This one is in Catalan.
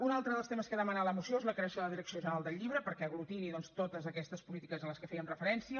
un altre dels temes que demana la moció és la creació de la direcció general del llibre perquè aglutini doncs totes aquestes polítiques a les que fèiem referència